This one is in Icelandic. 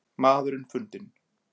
Maðurinn fundinn